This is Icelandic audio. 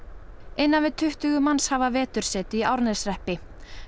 innan við tuttugu manns hafa vetursetu í Árneshreppi